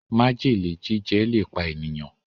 májèlé jíjẹ le pá ènìyàn